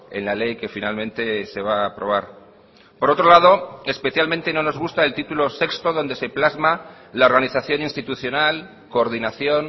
en la ley que finalmente se va a aprobar por otro lado especialmente no nos gusta el título sexto donde se plasma la organización institucional coordinación